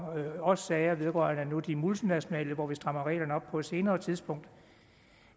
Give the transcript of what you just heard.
nu også sager vedrørende de multinationale hvor vi strammer reglerne op på et senere tidspunkt